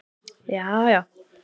jaajá